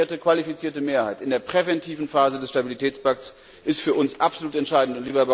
Die umgekehrte qualifizierte Mehrheit in der präventiven Phase des Stabilitätspakts ist für uns absolut entscheidend.